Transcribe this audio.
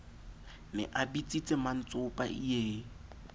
ne a bitsitse mmantsopa ie